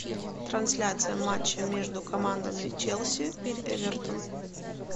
трансляция матча между командами челси эвертон